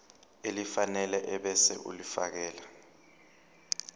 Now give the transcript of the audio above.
elifanele ebese ulifiakela